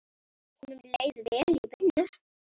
Honum leið vel í vinnu.